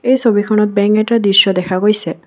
এই ছবিখনত বেংক এটাৰ দৃশ্য দেখা গৈছে।